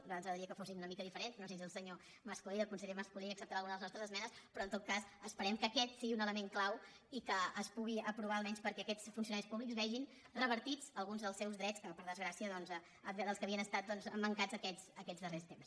a nosaltres ens agradaria que fossin una mica diferents no sé si el se·nyor mas·colell el conseller mas·colell acceptarà al·guna de les nostres esmenes però en tot cas esperem que aquest sigui un element clau i que es pugui apro·var almenys perquè aquests funcionaris públics vegin revertits alguns dels seus drets dels quals per desgrà·cia havien estat mancats aquests darrers temps